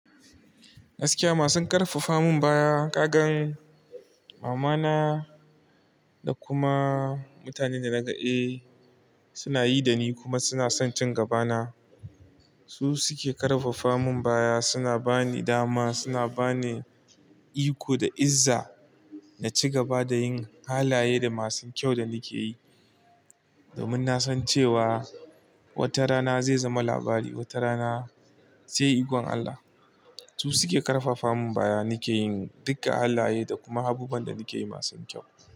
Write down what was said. Gaskiya masun ƙarfafa min baya, kagan mamana da kuma mutanen da naga e, suna yi da ni kuma suna son cin gabana. Su suke ƙarfafa min baya, suna bani dama, suna bani iko da izza na ci gaba da yin halaye da masu kyau da nike yi. Domin na san cewa wata rana zai zama labari, wata rana sai ikon Allah. Su suke ƙarfafa min baya nake yin duka halaye da kuma abubuwan da nake yi masu kyau.